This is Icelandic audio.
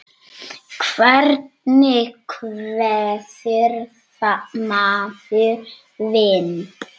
Hvernig kveður maður vin?